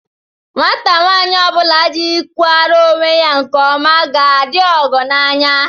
Nwata nwaanyị ọ bụla jikwara onwe ya nke ọma na-adị ọgọ n'anya